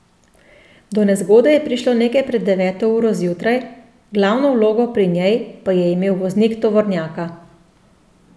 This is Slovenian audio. Do nezgode je prišlo nekaj pred deveto uro zjutraj, glavno vlogo pri njej pa je imel voznik tovornjaka.